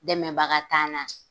Dɛmɛbaga t'an na.